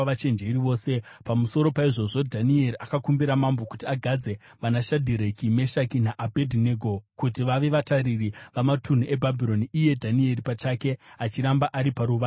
Pamusoro paizvozvo, Dhanieri akakumbira mambo kuti agadze vanaShadhireki, Meshaki naAbhedhinego kuti vave vatariri vamatunhu eBhabhironi, iye Dhanieri pachake achiramba ari paruvazhe rwamambo.